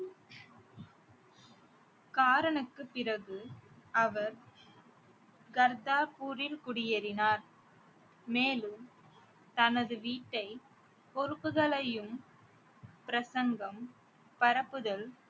காரனுக்குப் பிறகு அவர் கர்தாபூரில் குடியேறினார் மேலும் தனது வீட்டை பொறுப்புகளையும் பிரசங்கம் பரப்புதல்